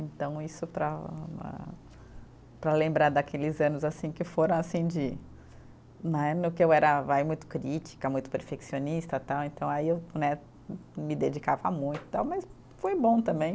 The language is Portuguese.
Então, isso para para lembrar daqueles anos assim que foram assim de né, no que eu era vai muito crítica, muito perfeccionista tal, então aí eu né, me dedicava muito tal, mas foi bom também.